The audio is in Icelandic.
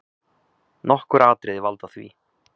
Nokkur atriði valda því.